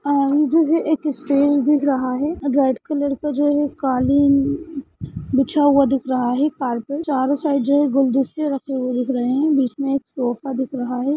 ये जो एक स्टेज दिख रहा है रेड कलर जो कालीन बिछा हुवा दिखा रहा है चारो साइड गुलदस्ते रखे दिख रहे है बीच में एक सोफा दिख रहा है।